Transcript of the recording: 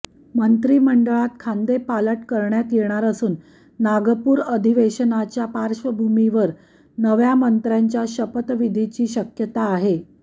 मंत्रिमंडळात खांदेपालट करण्यात येणार असून नागपूर अधिवेशनाच्या पार्श्वभूमीवर नव्या मंत्र्यांच्या शपथविधीची शक्यता आहे